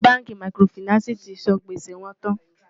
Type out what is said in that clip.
ṣé bánkì màkìrófinààsí tí sàn gbèsè wón tán?